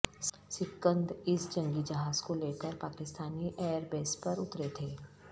سکند اس جنگی جہاز کو لے کر پاکستانی ایئر بیس پر اترے تھے